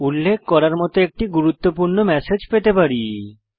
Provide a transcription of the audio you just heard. উল্লেখ করার মত একটি গুরুত্বপূর্ণ ম্যাসেজ পেতে পারি